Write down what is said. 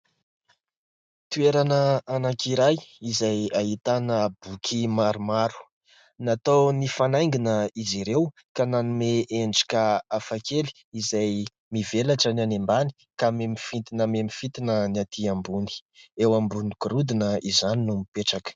Toerana anankiray izay ahitana boky maromaro, natao nifanaingina izy ireo ka nanome endrika hafa kely izay mivelatra ny any ambany ka mihamifintina mihamifintina ny atỳ ambony. Eo ambony gorodona izany no mipetraka.